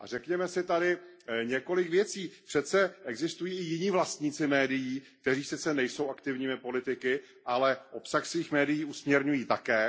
A řekněme si tady několik věcí přece existují i jiní vlastníci médií, kteří sice nejsou aktivními politiky, ale obsah svých médií usměrňují také.